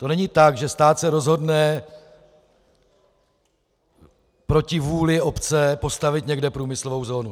To není tak, že stát se rozhodne proti vůli obce postavit někde průmyslovou zónu.